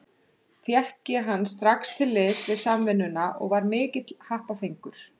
Fékk ég hann strax til liðs við Samvinnuna og var mikill happafengur.